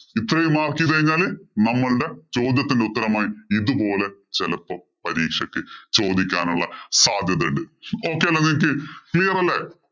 ഇത്രയും mark ചെയ്തുകഴിഞ്ഞാല് നമ്മളുടെ ചോദ്യത്തിന്‍റെ ഉത്തരമായി. ഇതുപോലെ ചെലപ്പോ പരീക്ഷയ്ക്ക് ചോദിക്കാനുള്ള സാധ്യത ഉണ്ട്. Okay അല്ലേ നിങ്ങക്ക്. Clear അല്ലേ?